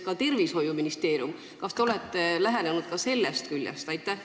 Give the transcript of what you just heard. Kas te olete lähenenud ka sellest küljest?